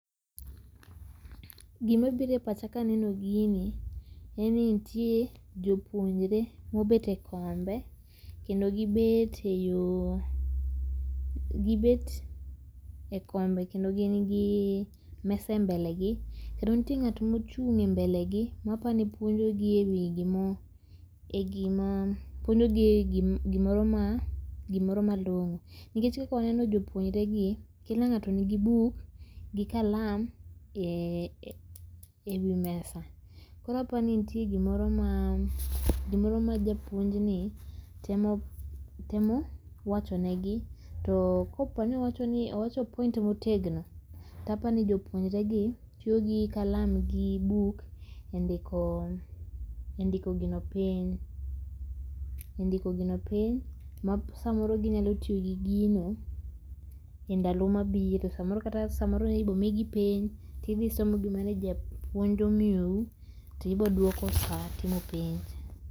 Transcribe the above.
Gima biro e pacha ka aneno gini en ni nitie jopuonjre mobet e kombe kendo gi bet e yo gibet e kombe kendo gin gi mesa e mbele gi. Kendo nitie ng'ato mochung' e mbele gi mapani puonjo gi e wi gimo e gima puonjo gi gimoro ma gimoro ma malongo. Nikech kaka waneno jopuonjre gi kila ngato ni gi bik gi kalam e wi mesa. Koro apani itie gimoro ma gimoro ma japuonj ni temo temo wachone gi. To kaponi owach point motegno to apani jopuonjre gi tiyo gin kalam gi buk e ndiko gino piny e ndiko gino piny masamoro ginyalo tiyo gi gino e ndalo ma biro,. Samoro kata samoro ibo mi gi penj ibisomo gima ne japuonj omiyo u tibiduoko sa timo penj.